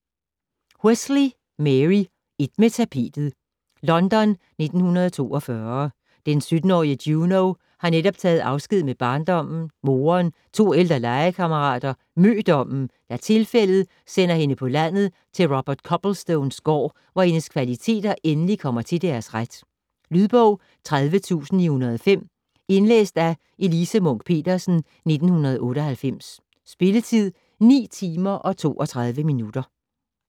Wesley, Mary: Et med tapetet London 1942. Den 17-årige Juno har netop taget afsked med barndommen - moderen, to ældre legekammerater, mødommen - da tilfældet sender hende på landet til Robert Copplestones gård, hvor hendes kvaliteter endelig kommer til deres ret. Lydbog 30905 Indlæst af Elise Munch-Petersen, 1998. Spilletid: 9 timer, 32 minutter.